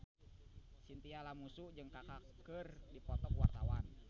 Chintya Lamusu jeung Kaka keur dipoto ku wartawan